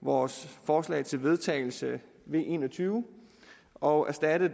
vores forslag til vedtagelse v en og tyve og erstatte